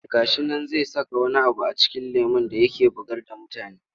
Ga shi nan zai saka wani abu a cikin lemon da yake bugar da mutane.